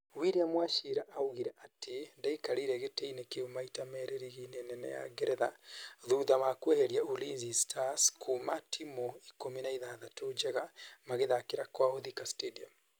William Wachira augire atĩ:" ndaikarĩire gĩtĩ-inĩ kĩu maita meri rigi-inĩ nene ya Ngeretha thutha wa kweheria Ulinzi Stars kuma timũ ikũmi na ithathatũ njega magĩthakĩra kwao, Thika Stadium